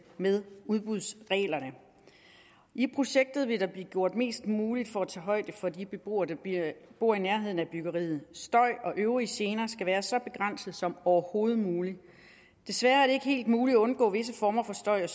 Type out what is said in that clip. med udbudsreglerne i projektet vil der blive gjort mest muligt for at tage højde for de beboere der bor i nærheden af byggeriet støj og øvrige gener skal være så begrænsede som overhovedet muligt desværre er det ikke muligt helt at undgå visse former for støj og